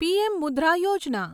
PM Mudra Yojana